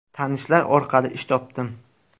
Tanishlar orqali ish topdim.